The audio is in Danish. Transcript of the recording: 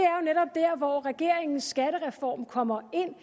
hvor regeringens skattereform kommer ind